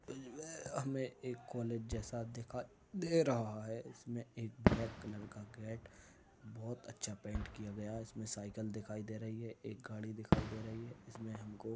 हमें कॉलेज जैसा दिखाई दे रहा है। इसमें ब्लैक कलर का गेट बोहोत अच्छा पेंट किया गया है। इसमें साइकिल दिखाई दे रही है एक गाड़ी दिखाई दे रही है। इसमें हमको --